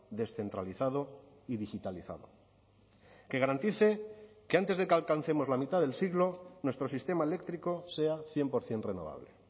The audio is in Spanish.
descentralizado y digitalizado que garantice que antes de que alcancemos la mitad del siglo nuestro sistema eléctrico sea cien por ciento renovable